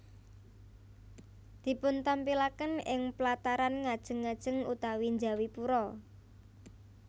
Dipuntampilaken ing plataran ngajeng ngajeng utawi njawi pura